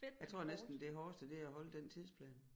Jeg tror næsten det hårdeste det er at holde den tidsplan